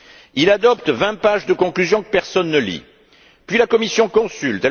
Il adopte vingt pages de conclusions que personne ne lit, puis la Commission consulte.